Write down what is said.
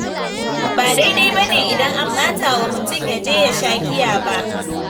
Ba daidai bane idan an ɓatawa mutum, ya je ya sha giya ba.